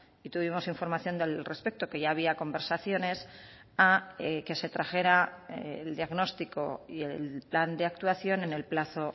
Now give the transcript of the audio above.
y tuvimos información del respecto que ya había conversaciones a que se trajera el diagnóstico y el plan de actuación en el plazo